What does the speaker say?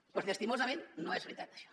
doncs llastimosament no és veritat això